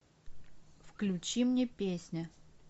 включи мне песня